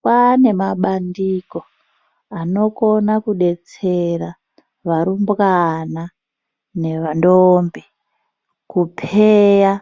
Kwaane mabandiko anokona kudetsera varumbwana nendombi kupheya